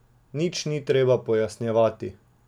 Nič ni treba pojasnjevati.